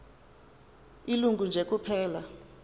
ilungu nje kuphela